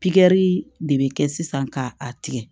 Pikiri de bɛ kɛ sisan k'a tigɛ